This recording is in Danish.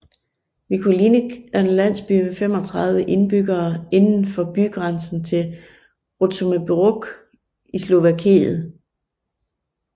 Vlkolínec er en landsby med 35 indbyggere indenfor bygrænsen til Rutžomberok i Slovakiet